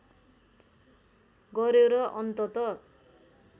गर्‍यो र अन्तत